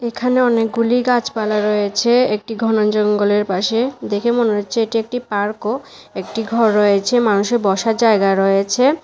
এখানে অনেকগুলি গাছপালা রয়েছে একটি ঘন জঙ্গলের পাশে। দেখে মনে হচ্ছে এটি একটি পার্কও একটি ঘর রয়েছে মানুষের বসার জায়গা রয়েছে।